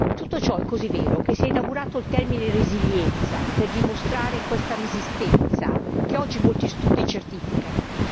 Tutto ciò è così vero che si è inaugurato il termine resilienza per dimostrare questa resistenza che oggi molti studi certificano.